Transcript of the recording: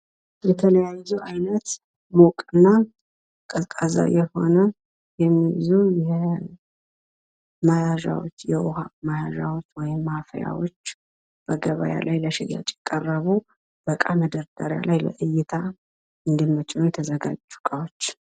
የተለያዩ አይነት ሙቅና ቀዝቃዛ የሆነ የሚይዙ መያዣዎች የውሃ መያዣዎች ወይም ማፍያዎች በገበያ ላይ ለሽያጭ የቀረቡ በእቃ መደርደሪያ ላይ ለእይታ እንድመች ሁኖ የተዘጋጁ እቃዎች።